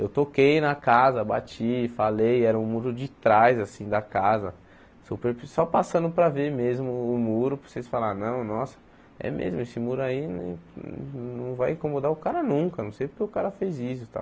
Eu toquei na casa, bati, falei, era o muro de trás assim da casa, super só passando para ver mesmo o muro, para vocês falarem, não, nossa, é mesmo, esse muro aí nem não vai incomodar o cara nunca, não sei porque o cara fez isso e tal.